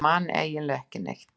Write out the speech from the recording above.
Ég man eiginlega ekki neitt.